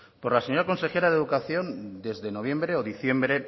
por la señora consejera de educación desde noviembre o diciembre